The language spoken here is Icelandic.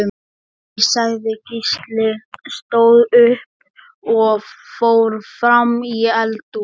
Nei, sagði Gísli, stóð upp og fór fram í eldhús.